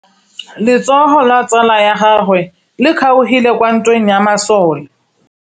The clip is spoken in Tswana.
Letsôgô la tsala ya gagwe le kgaogile kwa ntweng ya masole.